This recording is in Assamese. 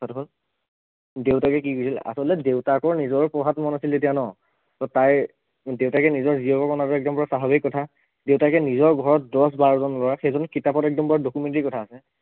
দেউতাকে কি কৰিছিল আচলতে দেউতাকৰ নিজৰ পঢ়াত মন আছিল তেতিয়া ন ত তাইৰ দেউতাকে নিজৰ জীয়েকক মন যোৱা একদম স্ৱাভাৱিক কথা দেউতাকে নিজৰ ঘৰত দহ বাৰজন লৰা সেইজনে কিতাপত একদম পোৰা documentary কথা আছে